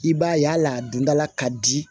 I b'a ye hali a dondala ka di